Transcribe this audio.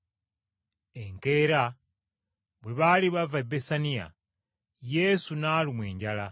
Enkeera bwe baali bava e Besaniya, Yesu n’alumwa enjala.